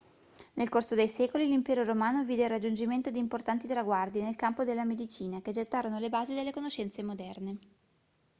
nel corso dei secoli l'impero romano vide il raggiungimento di importanti traguardi nel campo della medicina che gettarono le basi delle conoscenze moderne